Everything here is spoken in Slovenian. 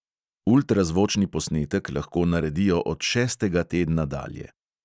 Ultrazvočni posnetek lahko naredijo od šestega tedna dalje.